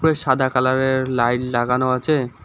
সাদা কালারের লাইট লাগানো আছে।